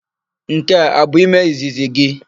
Nke a abụ ime izizi gị?